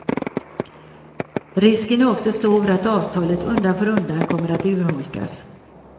Risken är också stor att avtalet undan för undan kommer att urholkas.